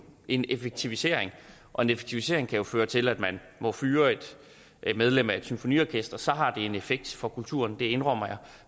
en effektivisering og en effektivisering kan jo føre til at man må fyre et medlem af et symfoniorkester så har det en effekt for kulturen det indrømmer jeg